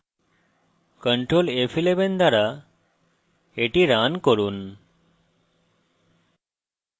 control f11 দ্বারা এটি run run